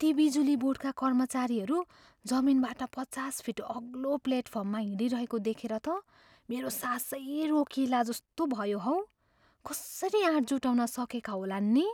ती बिजुली बोर्डका कर्मचारीहरू जमिनबाट पचास फिट अग्लो प्लेटफर्ममा हिँडिरहेको देखेर त मेरो सासै रोकिएला जस्तो भयो हौ। कसरी आँट जुटाउन सकेका होलान् नि!